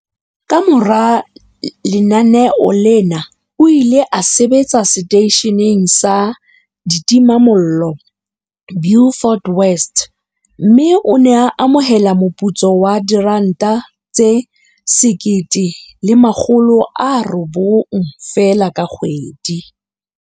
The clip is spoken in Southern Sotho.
Kamora lenaneo lena o ile a sebetsa seteisheneng sa ditimamollo Beaufort West, mme o ne a amohela moputso wa R1 900 feela ka kgwedi.